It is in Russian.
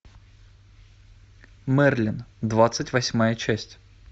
мерлин двадцать восьмая часть